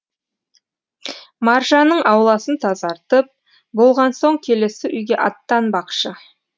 маржанның ауласын тазартып болған соң келесі үйге аттанбақшы